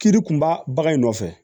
Kiri kunba bagan in nɔfɛ